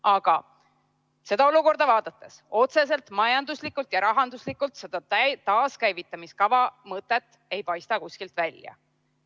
Aga seda olukorda vaadates ei paista otseselt majanduslikult ega rahanduslikult seda taaskäivitamise kava mõtet kuskilt välja.